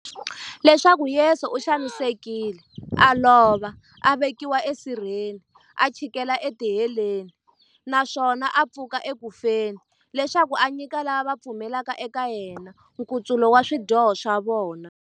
Leswaku Yesu u xanisekile, a lova, a vekiwa e sirheni, a chikela e tiheleni, naswona a pfuka eku feni, leswaku a nyika lava va pfumelaka eka yena, nkutsulo wa swidyoho swa vona.